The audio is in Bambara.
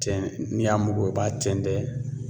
Cɛn n'i y'a mugu bɔ i b'a tɛntɛn